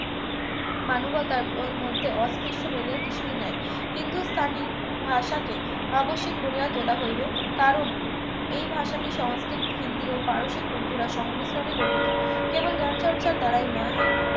মানবতার মধ্যে অস্পৃশ্য বলিয়া কিছুই নাই হিন্দুস্তানি ভাষা কে আবশ্যিক করিয়া তোলা হইবে কারণ এই ভাষাটি সংস্কৃত হিন্দি ও পারসিক উর্দুরা সংমিশ্রণে গঠিত কেবল জ্ঞান চর্চার দ্বারাই নহে